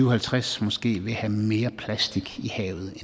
og halvtreds måske vil have mere plastik i havet